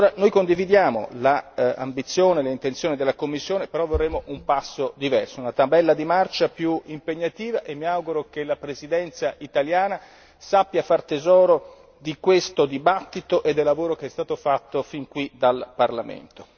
Noi condividiamo l'ambizione e l'intenzione della Commissione, però vorremmo un passo diverso, una tabella di marcia più impegnativa e mi auguro che la Presidenza italiana sappia far tesoro di questo dibattito e del lavoro che è stato fatto fin qui dal Parlamento.